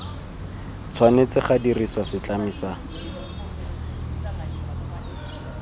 tshwanetse ga dirisiwa setlami sa